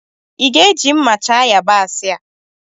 Ịga-eji mma chaa yabasị a?